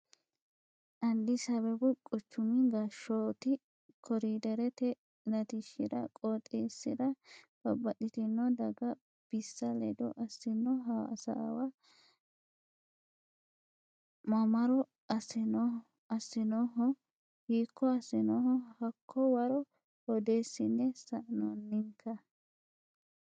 Addis Abbebu quchumi gashshooti koriderete latishshira qooxeessira babbaxxitino dagga bissa ledo assino hasaawa mamaro assinoniho, hiikko assinonni hakko waro odeessine sa'nonnikka.